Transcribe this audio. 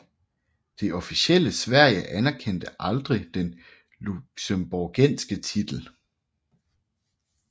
Det officielle Sverige anerkendte aldrig den luxembourgske titel